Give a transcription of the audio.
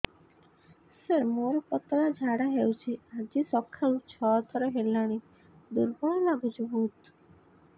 ସାର ମୋର ପତଳା ଝାଡା ହେଉଛି ଆଜି ସକାଳୁ ଛଅ ଥର ହେଲାଣି ଦୁର୍ବଳ ଲାଗୁଚି ବହୁତ